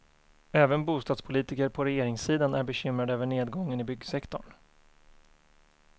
Även bostadspolitiker på regeringssidan är bekymrade över nedgången i byggsektorn.